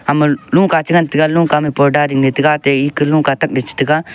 ama lungka chengan taiga lungka ma porda dingley tiga atte eka lungka takley che tiga.